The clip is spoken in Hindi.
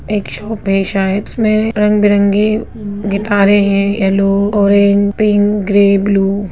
एक शॉप है शायद उसमे रंग-बरंगी गिटारे है yellow orange pink grey blue.